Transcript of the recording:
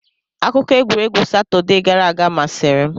Akụkọ egwuregwu Satọde gara aga masịrị m.